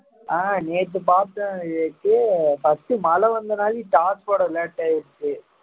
ஆஹ் நேத்து பார்த்தேன் நேத்து first மழை வந்த நாளையும் start பண்ண late ஆயிருச்சு